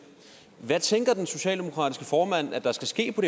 hvad tænker den socialdemokratiske formand at der skal ske på